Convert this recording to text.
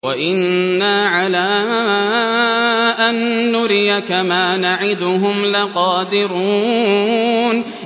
وَإِنَّا عَلَىٰ أَن نُّرِيَكَ مَا نَعِدُهُمْ لَقَادِرُونَ